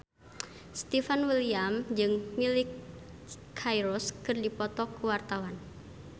Stefan William jeung Miley Cyrus keur dipoto ku wartawan